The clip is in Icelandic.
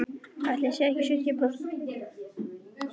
Ætli ég sé ekki sjötíu prósent teygja.